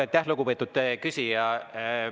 Aitäh, lugupeetud küsija!